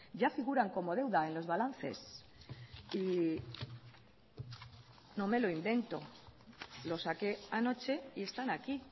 ya figuran como deuda en los balances y no me lo invento lo saqué anoche y están aquí